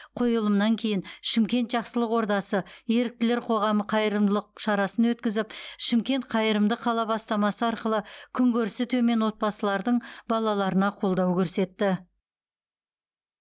қойылымнан кейін шымкент жақсылық ордасы еріктілер қоғамы қайырымдылық шарасын өткізіп шымкент қайырымды қала бастамасы арқылы күнкөрісі төмен отбасылардың балаларына қолдау көрсетті